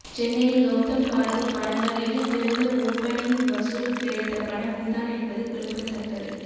சென்னையில் கவுதம் கார்த்திக் படங்களில் சிறந்த ஓப்பனிங் வசூல் கிடைத்த படம் இதுதான் என்பது குறிப்பிடத்தக்கது